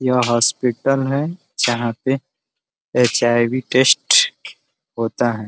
यह हॉस्पिटल है जहाँ पे एच् आई वी टेस्ट होता है।